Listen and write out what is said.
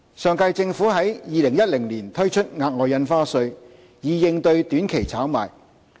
上屆政府在2010年推出額外印花稅，以應對短期炒賣。